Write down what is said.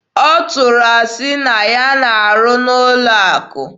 Ọ tụrụ asị na ya na-arụ n'ụlọ akụ.